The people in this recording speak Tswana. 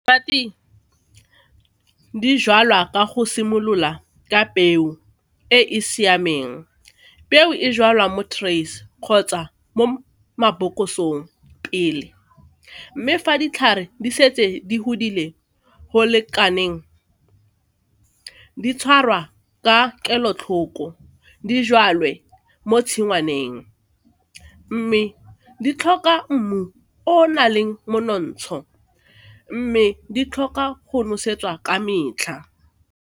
Di jalwa ka go simolola ka peo e e siameng, peo e jalwa mo trays kgotsa mo mabokosong pele mme fa ditlhare di setse di godile go lekaneng, di tshwarwa ka kelotlhoko, di jwadiwe mo tshingwaneng mme di tlhoka mmu o o na leng monontsho mme di tlhoka go nosetsa ka metlha.